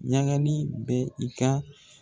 Ɲagali bɛ i ka.